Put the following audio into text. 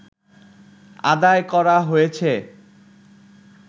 আদায় করা হয়েছে